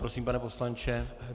Prosím, pane poslanče.